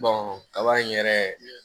kaba in yɛrɛ